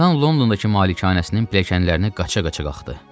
Tarzan Londondakı malikanəsinin pilləkənlərini qaça-qaça qalxdı.